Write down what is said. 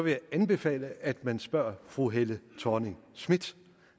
jeg anbefale at man spurgte fru helle thorning schmidt